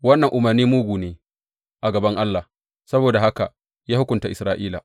Wannan umarnin mugu ne a gaban Allah; saboda haka ya hukunta Isra’ila.